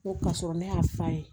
N ko ka sɔrɔ ne y'a f'a ye